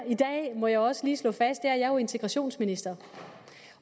i må jeg også lige slå fast er jeg er integrationsminister